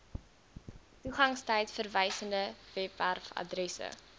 toegangstyd verwysende webwerfaddresse